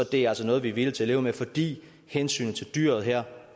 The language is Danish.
det altså noget vi er villige til at leve med fordi hensynet til dyret her